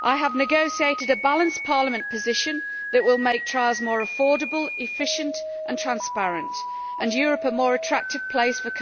I have negotiated a balanced Parliament position that will make trials more affordable, efficient and transparent and Europe a more attractive place for